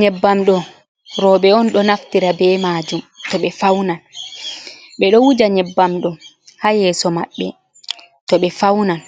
Nyebbam ɗo roɓe on ɗo naftira be majum to ɓe faunan, ɓe ɗo wuja nyebbam ɗo ha yeeso maɓɓe to ɓe faunan